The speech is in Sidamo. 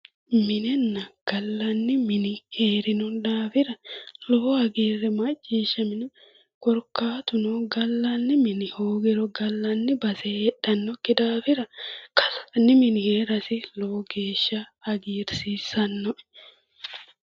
Minenna gallanni mini heerinonke daafira lowo hagiirri macciishshaminoe korkaatuno gallanni mini hoogiro gallanni base heedhannokki daafira gallanni mini heerasi lowo geeshsha hagiirsiissannoe